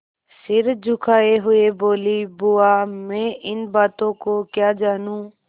सिर झुकाये हुए बोलीबुआ मैं इन बातों को क्या जानूँ